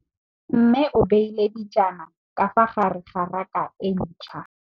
Mmê o beile dijana ka fa gare ga raka e ntšha.